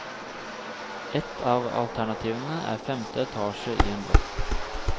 Et av alternativene er femte etasje i en blokk.